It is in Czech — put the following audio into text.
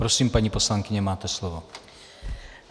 Prosím, paní poslankyně, máte slovo.